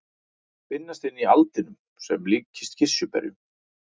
Þær finnast inni í aldinum sem líkjast kirsuberjum.